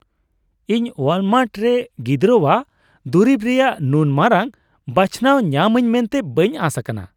ᱤᱧ ᱳᱣᱟᱞᱢᱟᱨᱴ ᱨᱮ ᱜᱤᱫᱽᱨᱟᱹᱣᱟᱜ ᱫᱩᱨᱤᱵ ᱨᱮᱭᱟᱜ ᱱᱩᱱ ᱢᱟᱨᱟᱝ ᱵᱟᱪᱷᱱᱟᱣ ᱧᱟᱢᱟᱹᱧ ᱢᱮᱱᱛᱮ ᱵᱟᱹᱧ ᱟᱸᱥ ᱟᱠᱟᱱᱟ ᱾